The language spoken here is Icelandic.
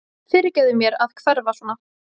Fyrirgefðu mér að hverfa svona.